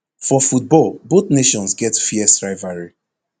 for football both nations get fierce rivalry